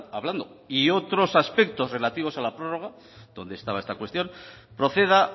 hablando y otros aspectos relativos a la prórroga donde estaba esa cuestión proceda